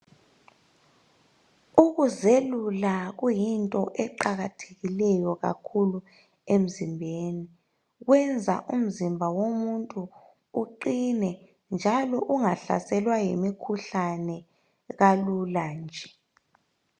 Ukuzelula kuyinto eqakathekileyo kakhulu emzimbeni. Kwenza umzimba womuntu uqine njalo ungahlaselwa yimikhuhlane kalula kanje.